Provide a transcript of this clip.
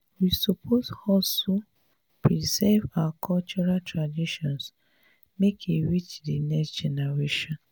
we suppose hustle preserve our cultural traditions make e reach de next generation.